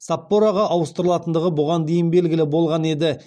саппороға ауыстырылатындығы бұған дейін белгілі болған еді